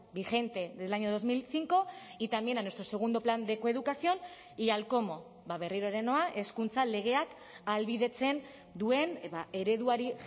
vigente del año dos mil cinco y también a nuestro segundo plan de coeducación y al cómo berriro ere noa hezkuntza legeak ahalbidetzen duen ereduari